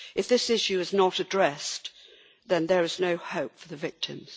If this issue is not addressed, then there is no hope for the victims.